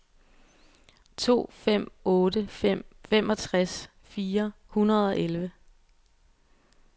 to fem otte fem femogtres fire hundrede og elleve